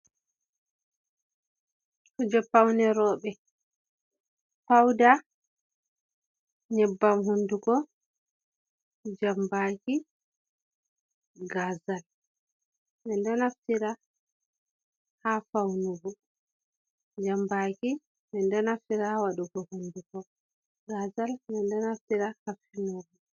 Kuje paune roɓɓe pauda, nyeɓɓam hundugko, jan baki, gazal, men ɗo naftira ha faunugo, jan baki menɗo naftira ha waɗugo hunduko, gazal menɗo naftira ha finugo.